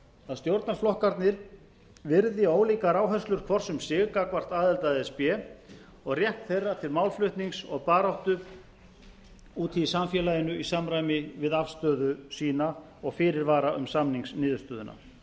að stjórnarflokkarnir virði ólíkar áherslur hvors um sig gagnvart aðild að e s b og rétt þeirra til málflutnings og baráttu úti í samfélaginu í samræmi við afstöðu sína og fyrirvara um samningsniðurstöðuna